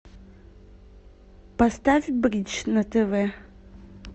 поставь бридж на тв